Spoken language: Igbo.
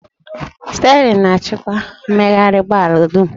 Sterịn na-achịkwa mmegharị ụgbọ ala dum